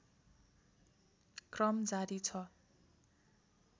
क्रम जारी छ